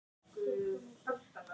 Börnin eiga að njóta vafans.